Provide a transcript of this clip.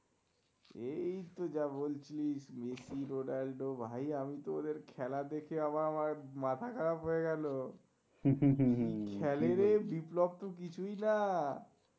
এই তো যা বলছিস মেসি রোনালদো ভাই আমিতো ওদের খেলা দেখে আবার আমার মাথা খারাপ হয়ে গেল কি খেলেরে বিপ্লব তো কিছুই না